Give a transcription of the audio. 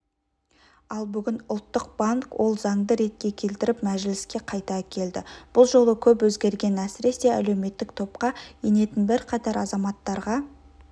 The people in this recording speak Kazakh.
ал бүгін ұлттық банк ол заңды ретке келтіріп мәжіліске қайта әкелді бұл жолы көп өзгерген әсіресе әлеуметтік топқа енетін бірқатар азаматтарға